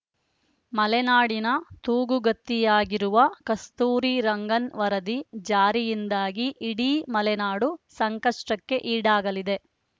ಮಲೆನಾಡಿನ ತೂಗುಗತ್ತಿಯಾಗಿರುವ ಕಸ್ತೂರಿ ರಂಗನ್‌ ವರದಿ ಜಾರಿಯಿಂದಾಗಿ ಇಡೀ ಮಲೆನಾಡು ಸಂಕಷ್ಟಕ್ಕೆ ಈಡಾಗಲಿದೆ